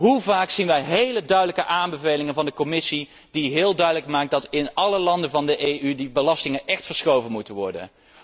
Hoe vaak zien wij hele duidelijke aanbevelingen van de Commissie die heel duidelijk maken dat in alle landen van de EU die belastingen echt verschoven moeten worden?